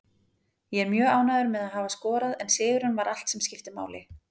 Ég er mjög ánægður með að hafa skorað en sigurinn var allt sem skipti máli.